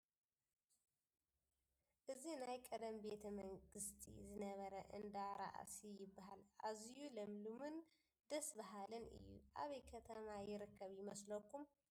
እዚ ናይ ቐደም ቤተ መንግስቲ ዝነበረ እንዳ ራእሲ ይበሃል ኣዚዩ ለምለምን ደስ በሃሊን እዩ ፡ ኣበይ ከተማ ይርከብ ይመስለኩም ?